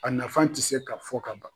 A nafan tɛ se ka fɔ ka ban.